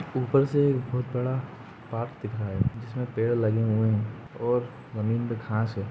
ऊपर से एक बहोत बड़ा बाग दिख रहा है जिसमे पेड़ लगे हुए हैं और जमीन पे घास है।